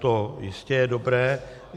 To jistě je dobré.